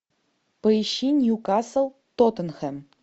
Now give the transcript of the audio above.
поищи ньюкасл тоттенхэм